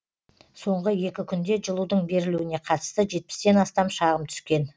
соңғы екі күнде жылудың берілуіне қатысты жетпістен астам шағым түскен